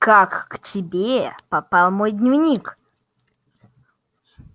как к тебе попал мой дневник